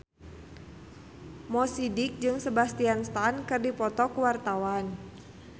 Mo Sidik jeung Sebastian Stan keur dipoto ku wartawan